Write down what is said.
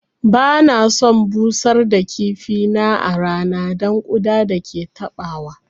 Ba na son busar da kifi na a rana don ƙuda da ke taɓawa